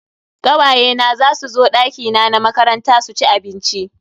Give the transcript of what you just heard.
Kawaye na zasu zo dakina na makaranta su ci abinci.